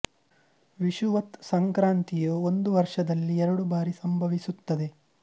ವಿಷುವತ್ ಸಂಕ್ರಾಂತಿ ಯು ಒಂದು ವರ್ಷದಲ್ಲಿ ಎರಡು ಬಾರಿ ಸಂಭವಿಸುತ್ತದೆ